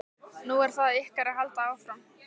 Nú er það ykkar að halda áfram.